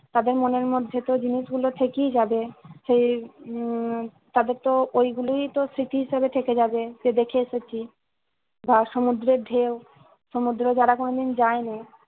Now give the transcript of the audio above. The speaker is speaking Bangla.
তাদের মনের মধ্যে যে জিনিস গুলো থেকেই যাবে। সেই উম তাদের তো ওই গুলোই তো স্মৃতি হিসাব থেকে যাবে। যে দেখে এসেছি বা সুমুদ্রের ঢেউ, সুমুদ্র যারা কোনোদিন যায়নি